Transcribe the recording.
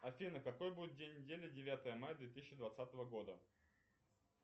афина какой будет день недели девятое мая две тысячи двадцатого года